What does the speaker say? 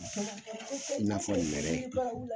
i n'a fɔ nɛrɛ.